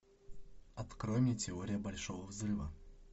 открой мне теория большого взрыва